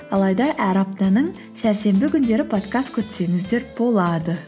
алайда әр аптаның сәрсенбі күндері подкаст күтсеңіздер болады